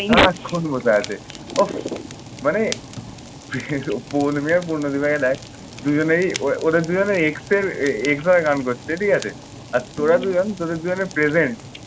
সারাক্ষণ বসে আছে। উফ। মানে পূর্ণদি ভাইয়া দেখ দুজনেই ও ওদের দুইজনেই ex এর xy গান করছে ঠিক আছে। আর তোরা দুজন তোদের দুইজনের প্রেমের।